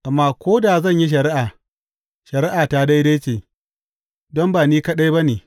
Amma ko da zan yi shari’a, shari’ata daidai ce, don ba ni kaɗai ba ne.